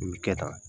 Nin bɛ kɛ tan